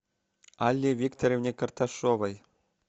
алле викторовне карташовой